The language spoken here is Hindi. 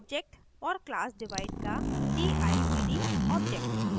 और class divide का divd object